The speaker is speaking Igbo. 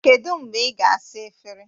Kedu mgbe ị ga-asa efere?